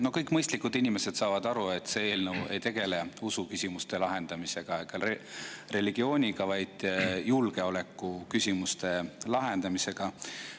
No kõik mõistlikud inimesed saavad aru, et see eelnõu ei tegele usuküsimuste lahendamise ega religiooniga, vaid julgeolekuküsimuste lahendamisega.